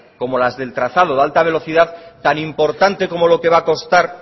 como las del trazado de alta velocidad tan importante como que lo que va a costar